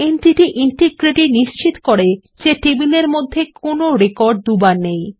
entity integrity নিশ্চিত করে যে টেবিলের মধ্যে কোন রেকর্ড দুবার নেই